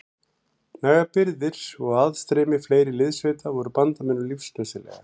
Nægar birgðir og aðstreymi fleiri liðssveita voru bandamönnum lífsnauðsynlegar.